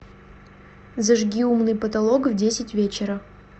зажги умный потолок в десять вечера